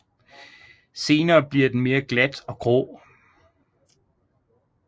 Senere bliver den mere glat og grå